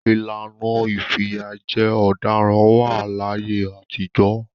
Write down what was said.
ìlànà ìfìyàjẹ ọ̀daràn wá à láyé àtijọ́.